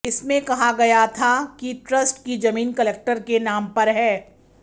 इसमें कहा गया था कि ट्रस्ट की जमीन कलेक्टर के नाम पर है